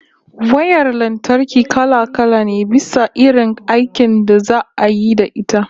Wayar lantarki kala-kala ne, bisa irin aikin da za'a yi da ita